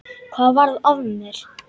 Hvað varð af mér?